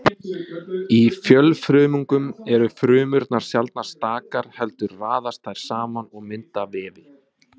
Í fjölfrumungum eru frumurnar sjaldnast stakar heldur raðast þær saman og mynda vefi.